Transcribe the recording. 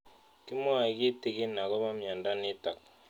Kimwae kitig'in akopo miondo notok